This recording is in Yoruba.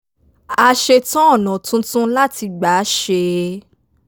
a ṣètò ọ̀nà tuntun láti gbà ṣe é